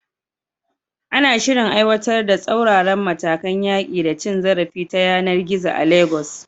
Ana shirin aiwatar da tsauraran matakan yaƙi da cin zarafi ta yanar gizo a Legas.